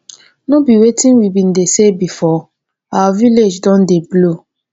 no be wetin we bin dey say before? our village don dey blow.